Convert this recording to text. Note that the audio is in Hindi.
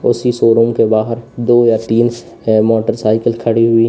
उसी शोरूम के बाहर दो या तीन है मोटरसाइकिल खड़ी हुई--